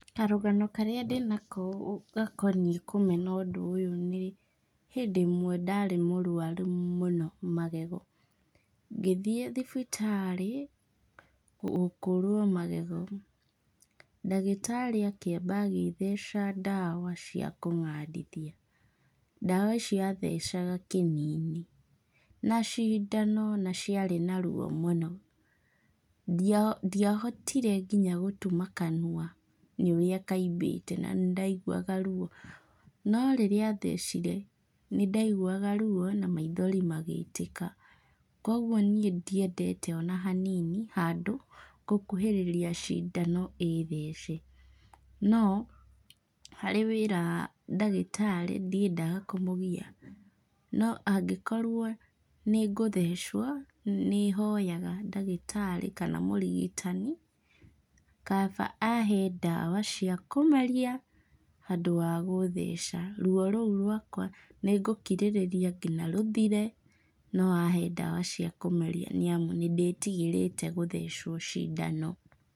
Karũgano karĩa ndĩ nako gakoniĩ kũmena ũndũ ũyũ nĩ, hĩndĩ ĩmwe ndarĩ mũrũaru mũno magego. Ngĩthiĩ thibitarĩ, gũkũrũo magego. Ngagĩtarĩ akĩamba agĩtheca ndawa cia kũng'andithia. Ndawa icio athecaga kĩni-inĩ, na cindano naciarĩ na ruo mũno ndiahotire nginya gũtuma kanua nĩ ũrĩa kaimbĩte na nĩ ndaiguaga ruo. No rĩrĩa athecire, nĩ ndaiguaga ruo na maithori magĩitĩka. Koguo niĩ ndiendete ona hanini handũ ngũkuhĩrĩria cindano ĩthece. No, harĩ wĩra ndagĩtarĩ ndiendaga kũmũgia. No angĩkorwo nĩ ngũthecwo, nĩ hoyaga ndagĩtarĩ, kana mũrigitani, kaba ahe ndawa cia kũmeria handũ ha gũtheca. Ruo rũu rwakwa nĩ ngũkirĩrĩria ngina rũthire no ahe ndawa cia kũmeria nĩamu nĩ ndĩtigĩrĩte gũthecwo cindano.